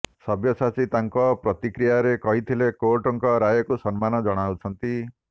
ସବ୍ୟସାଚୀ ତାଙ୍କ ପ୍ରତିକ୍ରିୟାରେ କହିଥିଲେ କୋର୍ଟଙ୍କ ରାୟକୁ ସମ୍ମାନ ଜଣାଉଛନ୍ତି